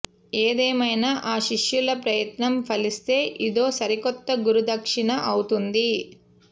ఏదేమైనా ఆ శిష్యుల ప్రయత్నం ఫలిస్తే ఇదో సరికొత్త గురుదక్షిణ అవుతుంది